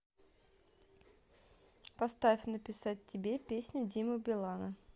поставь написать тебе песню димы билана